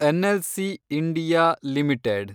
NLC India limited